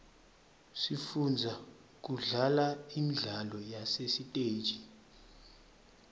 sifunza kudlala imidlalo yasesiteji